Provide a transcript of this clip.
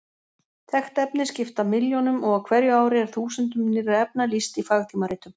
Þekkt efni skipta milljónum og á hverju ári er þúsundum nýrra efna lýst í fagtímaritum.